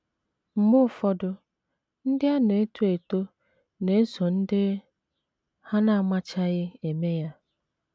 Mgbe ụfọdụ, ndị na - eto eto na - eso ndị ha na - amachaghị eme ya.